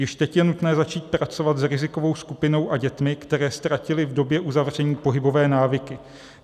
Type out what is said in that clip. Již teď je nutné začít pracovat s rizikovou skupinou a dětmi, které ztratily v době uzavření pohybové návyky.